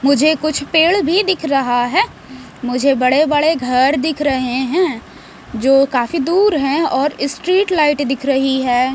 मुझे कुछ पेड़ भी दिख रहा है। मुझे बड़े बड़े घर दिख रहे है। जो काफी दूर हैं और स्ट्रीट लाइट दिख रही है।